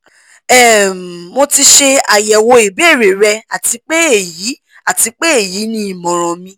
um mo ti ṣe ayẹwo ibeere rẹ ati pe eyi ati pe eyi ni imọran mi